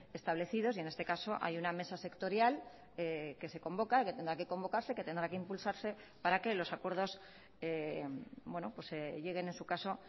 establecidos y en este caso hay una mesa sectorial que se convoca que tendrá que convocarse que tendrá que impulsarse para que los acuerdos lleguen en su caso